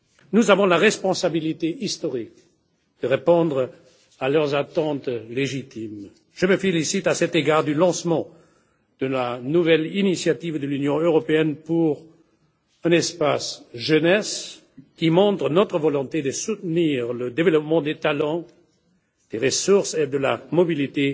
Nous avons la responsabilité historique de répondre à leurs attentes légitimes. À cet égard, je me félicite du lancement de la nouvelle initiative de l'Union européenne pour la jeunesse, qui montre notre volonté de soutenir le développement des talents, des ressources et de la mobilité